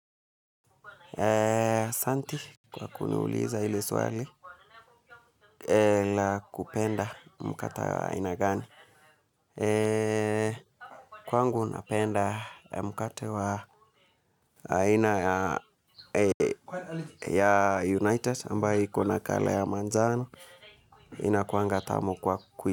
Santi kwa kuniuliza ili swali la kupenda mkate wa aina gani. Kwangu napenda mkate wa aina ya United ambayo iko na colour ya manjano inakuanga tamu kwa.